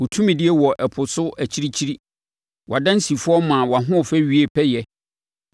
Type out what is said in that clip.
Wo tumidie wɔ ɛpo so akyirikyiri; wʼadansifoɔ maa wʼahoɔfɛ wiee pɛyɛ